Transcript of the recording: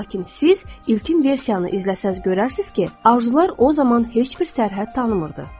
Lakin siz ilkin versiyanı izləsəz görərsiniz ki, arzular o zaman heç bir sərhəd tanımırdı.